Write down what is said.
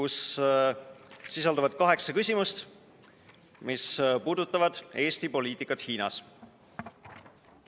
See sisaldab kaheksat küsimust, mis puudutavad Eesti poliitikat Hiinas.